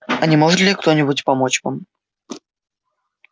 а не может ли кто-нибудь помочь вам